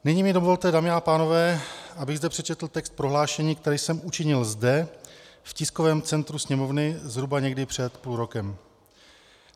Nyní mi dovolte, dámy a pánové, abych zde přečetl text prohlášení, které jsem učinil zde v tiskovém centru Sněmovny zhruba někdy před půl rokem.